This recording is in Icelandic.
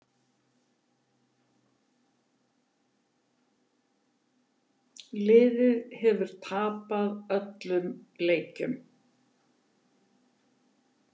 Liðið hefur tapað öllum leikjunum